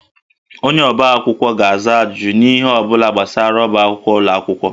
Onye ọbá akwụkwọ ga-aza ajụjụ n'ihe ọ bụla gbasara ọbá akwụkwọ ụlọ akwụkwọ